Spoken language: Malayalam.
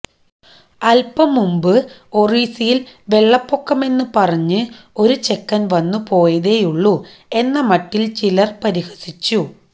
അൽപം മുമ്പ് ഒറീസയിൽ വെള്ളപ്പൊക്കമെന്നു പറഞ്ഞ് ഒരു ചെക്കൻ വന്നു പോയതേയുള്ളൂ എന്ന മട്ടിൽ ചിലർ പരിഹസിച്ചു